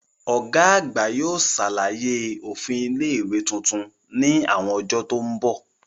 Ọ̀gá àgbà yóò ṣàlàyé òfin ilé ìwé tuntun ní àwọn ọjọ́ tó mbọ̀